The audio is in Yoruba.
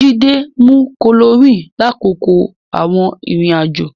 Jídé mu chloroquine lákòókò àwọn ìrìn-àjò.